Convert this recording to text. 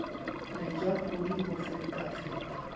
le ja podi ho fetafeta